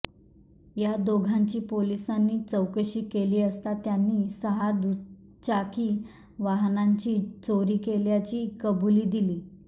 या दोघांची पोलिसांनी चौकशी केली असता त्यांनी सहा दुचाकी वाहनांची चोरी केल्याची कबुली दिली